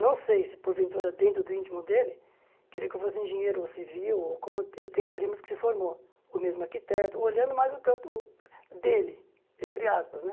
Não sei se por ventura dentro do íntimo dele, queria que eu fosse engenheiro ou civil, ou como eu tenho primos que se formou, ou mesmo arquiteto, olhando mais o campo dele, entre aspas, né?